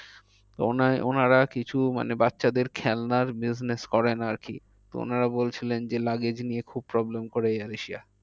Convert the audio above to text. ওনার ওনার আর কিছু মানে বাচ্চাদের খেলনার business করেন আর কি। তো ওনারা বলছিলেন যে luggage নিয়ে খুব problem করে air asia